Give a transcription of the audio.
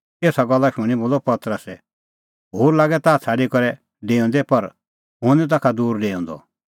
एसा गल्ला शूणीं बोलअ पतरसै होर लागे ताह छ़ाडी करै डेऊंदै पर हुंह निं ताखा दूर डेऊंदअ